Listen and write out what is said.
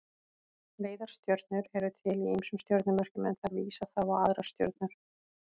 Leiðarstjörnur eru til í ýmsum stjörnumerkjum en þær vísa þá á aðrar stjörnur.